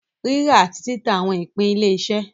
Rírà àti títà àwọn ìpín ilé-iṣẹ́.